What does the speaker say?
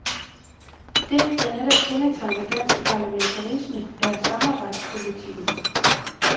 Det, der netop kendetegner dansk parlamentarisme, er samarbejdspolitikken.